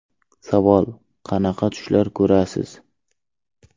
Savol: Qanaqa tushlar ko‘rasiz?